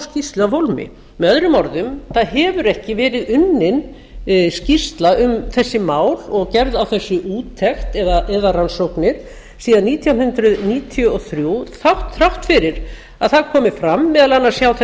skýrslu af hólmi möo það hefur ekki verið unnin skýrsla um þessi mál og gerð á þessu úttekt eða rannsóknir því að nítján hundruð níutíu og þrjú þrátt fyrir að það komi fram meðal annars hjá